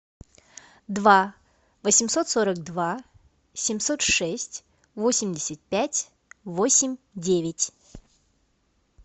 два восемьсот сорок два семьсот шесть восемьдесят пять восемь девять